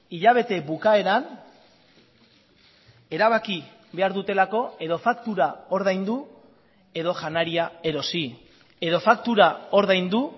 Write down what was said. hilabete bukaeran erabaki behar dutelako edo faktura ordaindu edo janaria erosi edo faktura ordaindu